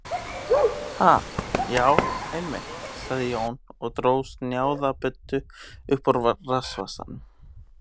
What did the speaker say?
Ha, já, einmitt, sagði Jón og dró snjáða buddu upp úr rassvasanum.